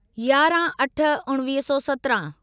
याराहं अठ उणिवीह सौ सत्राहं